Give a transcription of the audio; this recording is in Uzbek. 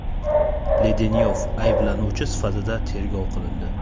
Ledenyov ayblanuvchi sifatida tergov qilindi.